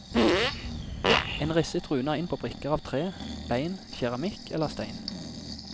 En risset runer inn på brikker av tre, bein, keramikk eller stein.